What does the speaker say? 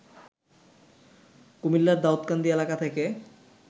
কুমিল্লার দাউকান্দি এলাকা থেকে